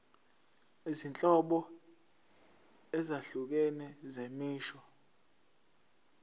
izinhlobo ezahlukene zemisho